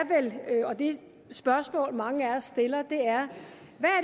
et spørgsmål mange af os stiller hvad er